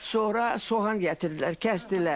Sonra soğan gətirdilər, kəsdilər.